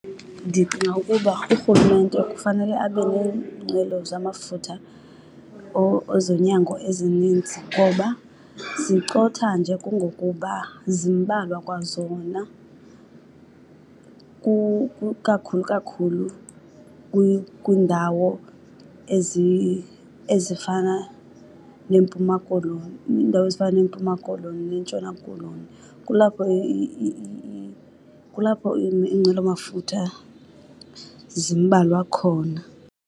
Ndicinga ukuba urhulumente kufanele abe neenqwelo zamafutha ezonyango ezininzi ngoba zicotha nje kungokuba zimbalwa kwazona, ikakhulu kakhulu kwiindawo ezifana neMpuma Koloni, iindawo ezifana neMpuma Koloni neNtshona Koloni. Kulapho , kulapho iinqwelomafutha zimbalwa khona.